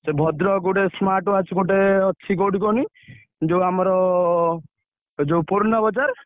ସେ ଭଦ୍ରକ ଗୋଟେ smartwatch ଗୋଟେ ଅଛି କୋଉଠି କହନି ଯୋଉ ଆମର ଯୋଉ ପୂର୍ଣବଜାର?